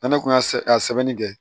N'ale kun y'a sɛbɛnni kɛ